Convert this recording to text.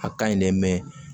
A ka ɲi dɛ